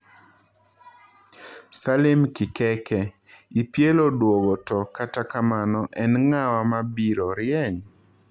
Salim Kikeke: EPL oduogo to kata kamano en ng'awa mabiro rieny?